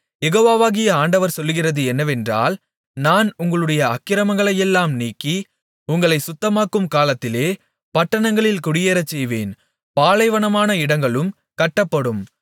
யெகோவாகிய ஆண்டவர் சொல்லுகிறது என்னவென்றால் நான் உங்களுடைய அக்கிரமங்களையெல்லாம் நீக்கி உங்களைச் சுத்தமாக்கும் காலத்திலே பட்டணங்களில் குடியேறச்செய்வேன் பாலைவனமான இடங்களும் கட்டப்படும்